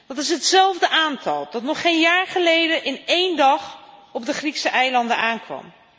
Dat is hetzelfde aantal dat nog geen jaar geleden in één dag op de Griekse eilanden aankwam.